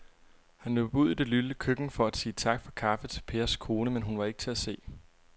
Han løb ud i det lille køkken for at sige tak for kaffe til Pers kone, men hun var ikke til at se.